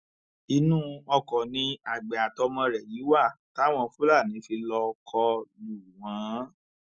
inú ọkọ ni àgbẹ àtọmọ rẹ yìí wà táwọn fúlàní fi lọọ kọ lù wọn